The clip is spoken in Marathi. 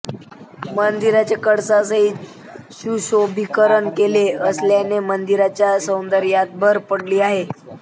मंदिराचे कळसासहित सुशोभीकरण केले असल्याने मंदिराच्या सौंदर्यात भर पडली आहे